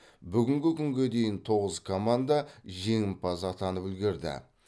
бүгінгі күнге дейін тоғыз команда жеңімпаз атанып үлгерді